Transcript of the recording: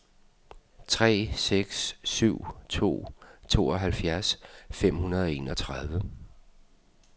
tre seks syv to tooghalvtreds fem hundrede og enogtredive